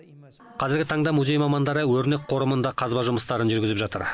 қазіргі таңда музей мамандары өрнек қорымында қазба жұмыстарын жүргізіп жатыр